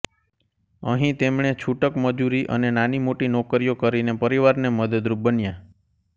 અહીં તેમણે છૂટક મજૂરી અને નાનીમોટી નોકરીઓ કરીને પરિવારને મદદરૂપ બન્યા